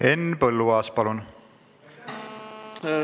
Henn Põlluaas, palun!